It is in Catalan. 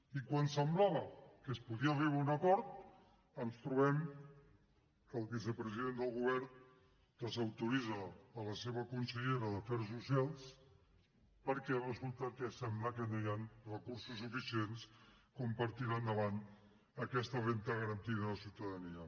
i quan semblava que es podia arribar a un acord ens trobem que el vicepresident del govern desautoritza la seva consellera d’afers socials perquè resulta que sembla que no hi han recursos suficients com per tirar endavant aquesta renda garantida de ciutadania